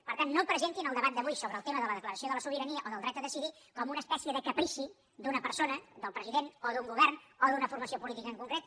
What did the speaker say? per tant no presentin el debat d’avui sobre el tema de la declaració de la sobirania o del dret a decidir com una espècie de caprici d’una persona del president o d’un govern o d’una formació política en concret